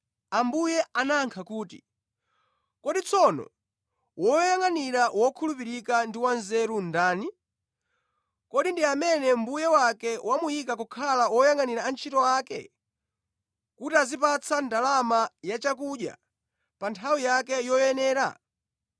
Ambuye anayankha kuti, “Kodi tsono woyangʼanira wokhulupirika ndi wanzeru ndani? Kodi ndi amene mbuye wake wamuyika kukhala oyangʼanira antchito ake kuti aziwapatsa ndalama yachakudya pa nthawi yake yoyenera?